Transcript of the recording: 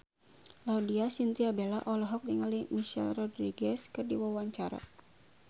Laudya Chintya Bella olohok ningali Michelle Rodriguez keur diwawancara